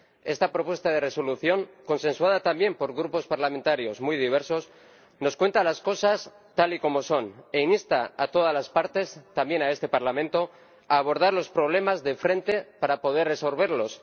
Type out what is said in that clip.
Esta propuesta de Resolución, consensuada también por grupos parlamentarios muy diversos, nos cuenta las cosas tal y como son e insta a todas las partes, también a este Parlamento, a abordar los problemas de frente para poder resolverlos.